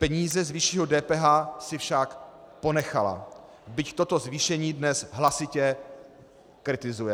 Peníze z vyšší DPH si však ponechala, byť toto zvýšení dnes hlasitě kritizuje.